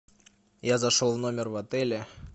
я зашел в номер в отеле